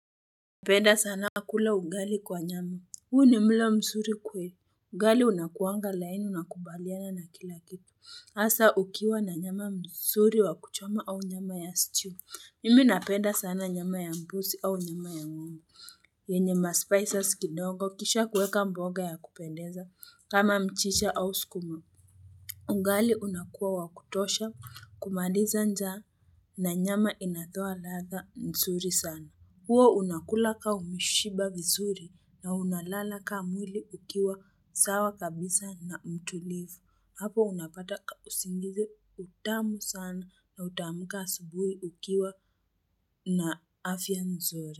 Napenda sana kula ugali kwa nyama. Huu ni mlo mzuri kweli. Ugali unakuanga laini nakubaliana na kila kitu. Hasa ukiwa na nyama mzuri wa kuchoma au nyama ya stew. Mimi napenda sana nyama ya mbuzi au nyama ya ng'ombe. Yenye ma spices kidogo kisha kuweka mboga ya kupendeza kama mchicha au sukuma. Ugali unakuwa wakutosha kumaliza njaa na nyama inatoa ladha mzuri sana. Hua unakula kaa umeshiba vizuri na unalala kaa mwili ukiwa sawa kabisa na mtulivu, hapo unapata usingizi mtamu sana na utaamka asubuhi ukiwa na afya mzuri.